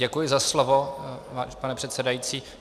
Děkuji za slovo, pane předsedající.